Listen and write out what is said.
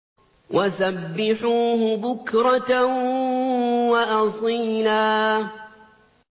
وَسَبِّحُوهُ بُكْرَةً وَأَصِيلًا